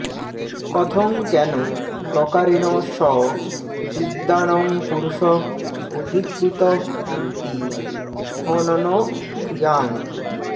কথং কেন প্রকারেণ সঃ বিদ্বান্ পুরুষঃ অধিকৃতঃ হন্তি হননক্রিযাং